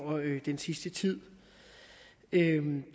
den sidste tid